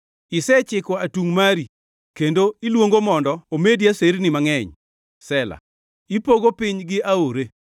Isechiko atungʼ mari, kendo iluongo mondo omedi aserni mangʼeny. Sela Ipogo piny gi aore,